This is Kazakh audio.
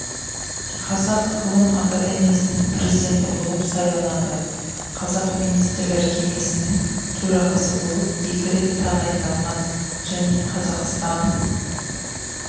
қазақ ғылым академиясының президенті болып сайланады қазақ министрлер кеңесінің төрағасы болып екі рет тағайындалған және қазақстан